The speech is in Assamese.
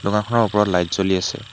দোকানখনৰ ওপৰত লাইট জ্বলি আছে।